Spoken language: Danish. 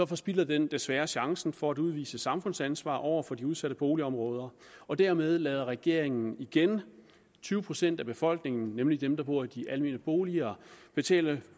forspilder den desværre chancen for at udvise samfundsansvar over for de udsatte boligområder og dermed lader regeringen igen tyve procent af befolkningen nemlig dem der bor i de almene boliger betale